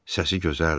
Səsi gözəldir.